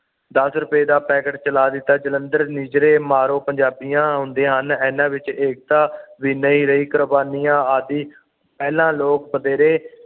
ਦੱਸ ਰੁਪਏ ਦਾ ਪੈਕੇਟ ਚਲਾ ਦਿੱਤਾ ਜਲੰਧਰ ਨਿਜਰੇ ਮਾਰੋ ਪੰਜਾਬੀਆਂ ਹੁੰਦੇ ਹਨ ਇਹਨਾਂ ਵਿੱਚ ਏਕਤਾ ਵੀ ਨਹੀਂ ਰਹੀ ਕੁਰਬਾਨੀਆਂ ਆਦਿ ਪਹਿਲਾਂ ਲੋਕ ਬਥੇਰੇ